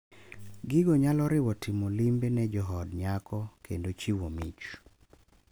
Gigo nyalo riwo timo limbe ne jood nyako kendo chiwo mich .